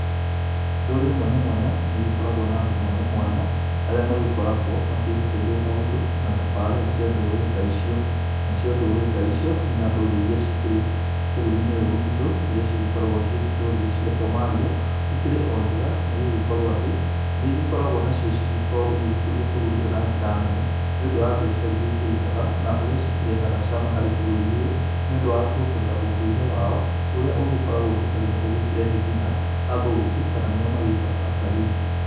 Ndũrĩrĩ mwanya mwanya nĩ igĩkoragwo na andũ mwanya mwanya arĩa magĩkoragwo makĩhokeirwo maũndũ na tafarĩra cia ndũrĩrĩ ta icio. Na cio ndũrĩrĩ ta icio ina ndũrĩrĩ iria cikĩrĩ bũrũri-inĩ ũyũ witũ iria cigĩkoragwo ciĩ ndũrĩrĩ cia Somalia. Ikirĩ o njega nĩ gũgĩkorwo atĩ nĩ igĩkoragwo nacio cigĩkorwo igĩgĩkuria bũrũri ũyũ na njĩra nene, nĩ ũndũ wa mbiacara iria ikĩrutaga na ũrĩa cikĩrehaga cama harĩ bũrũri ũyũ. Nĩ ũndũ wa kuongerera ũndũire wao ũrĩa ũgĩkoragwo nginya rĩmwe ũgĩkĩrehe nginya athũngũ, kana nĩo magitagwo atalii.